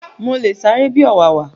Mo le sáré bi ọ̀wàwà